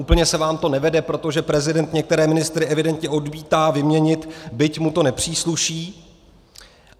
Úplně se vám to nevede, protože prezident některé ministry evidentně odmítá vyměnit, byť mu to nepřísluší.